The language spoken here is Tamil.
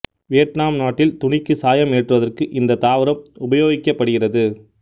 வியட்நாம் நாட்டில் துணிக்கு சாயம் ஏற்றுவதற்கு இந்த தாவரம் உபயோகப்படுகிறது